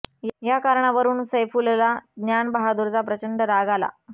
या कारणावरून सैफुलला ज्ञान बहादूरचा प्रचंड राग आला